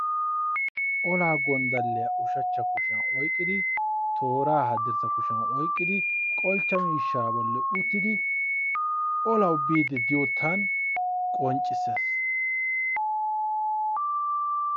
Olaa gondalliy ushacha kushiyan oyqidi tooraa hadirsssa kushiyan oyqqidi qolchcha miishshaa bolli uttidi olawu biidi diyoottaan qonccissees.